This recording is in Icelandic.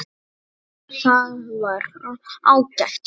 Það var ágætt starf.